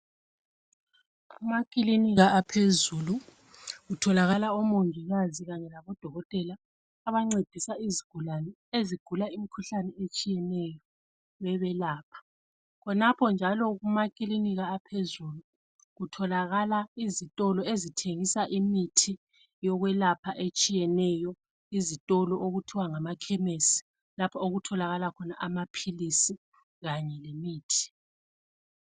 Emakilinikia aphezulu kutholakala omongikazi kanye labo dokotela abancedisa izigulane ezigula imkhuhlane etshiyeneyo bebelapha .Khonapho njalo kumakilinika aphezulu , kutholakala izitolo ezithengisa imithi yokwelapha etshiyeneyo .Izitolo okuthiwa ngama khemesi. Lapho okutholakala khona amaphilisi kanye lemithi .